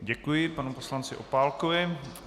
Děkuji panu poslanci Opálkovi.